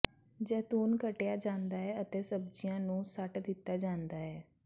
ਜੈਤੂਨ ਕੱਟਿਆ ਜਾਂਦਾ ਹੈ ਅਤੇ ਸਬਜ਼ੀਆਂ ਨੂੰ ਸੁੱਟ ਦਿੱਤਾ ਜਾਂਦਾ ਹੈ